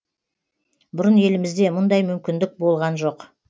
бұрын елімізде мұндай мүмкіндік болған жоқ